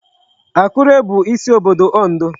Akure bụ isi obodo Ondo.